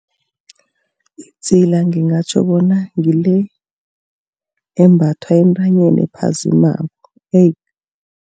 Idzila ngingatjho bona ngile embathwa entanyeni ephazimako